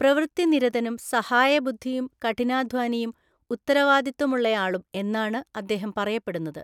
പ്രവൃത്തിനിരതനും സഹായബുദ്ധിയും കഠിനാധ്വാനിയും ഉത്തരവാദിത്വമുള്ളയാളും എന്നാണ് അദ്ദേഹം പറയപ്പെടുന്നത്.